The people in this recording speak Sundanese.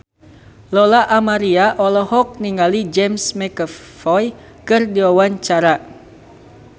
Lola Amaria olohok ningali James McAvoy keur diwawancara